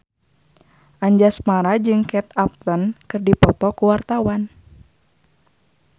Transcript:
Anjasmara jeung Kate Upton keur dipoto ku wartawan